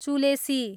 चुलेसी